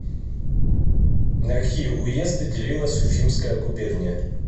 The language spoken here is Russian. на какие уезды делилась уфимская губерния